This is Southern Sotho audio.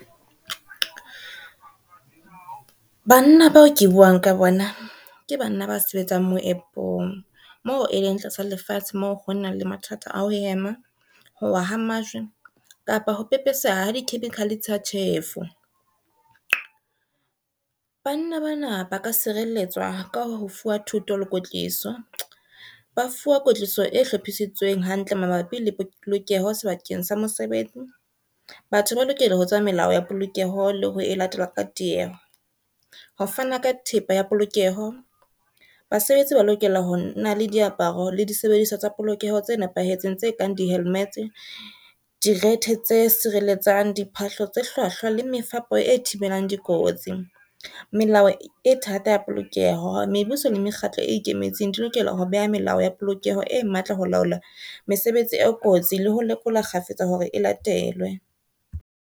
Banna bao ke buang ka bona, ke banna ba sebetsang moepong mo e leng tlasa lefatshe moo ho nang le mathata a ho hema, howa ha majwe kapa ho pepeseha ha di-chemical tsa tjhefo. Banna bana ba ka sireletswa ka ho fuwa thuto le kwetliso, ba fuwa kwetliso e hlophisitsweng hantle mabapi le polokeho sebakeng sa mesebetsi. Batho ba lokela ho tseba melao ya polokeho le ho e latela ka tieho. Ho fana ka thepa ya polokeho basebetsi ba lokela ho na le diaparo le disebediswa tsa polokeho tse nepahetseng tse kang di-helmet-e, direthe tse sireletsang, diphahlo tse hlwahlwa le mefapo e thibelang dikotsi. Melao e thata ya polokeho mebuso le mekgatlo e ikemetseng di lokela ho beha melao ya polokeho e matla ho laola mesebetsi e kotsi le ho lekola kgafetsa hore e latelwe.